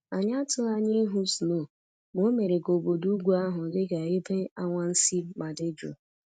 Anyị atụghị anya ịhụ snow ma o mere ka obodo ugwu ahụ dị ka ebe anwansị ma dị jụụ